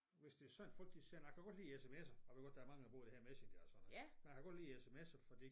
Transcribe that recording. Hvis det sådan folk de sender jeg kan godt lide SMS'er jeg ved godt der er mange der bruger det her Messenger og sådan noget men jeg kan godt lide SMS'er fordi